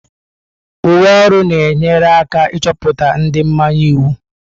Uwe ọrụ na-enyere aka ịchọpụta ndị mmanye iwu.